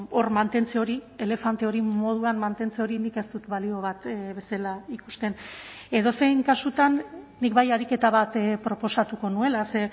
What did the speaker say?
hor mantentze hori elefante hori moduan mantentze hori nik ez dut balio bat bezala ikusten edozein kasutan nik bai ariketa bat proposatuko nuela ze